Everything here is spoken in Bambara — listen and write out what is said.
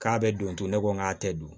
K'a bɛ don to ne ko n k'a tɛ dun